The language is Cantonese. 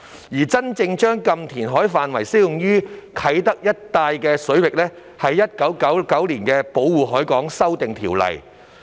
而真正將"禁填海"範圍適用於啟德一帶水域的規定，是源於《1999年保護海港條例》。